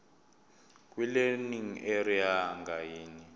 kwilearning area ngayinye